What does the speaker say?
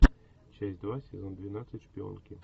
часть два сезон двенадцать шпионки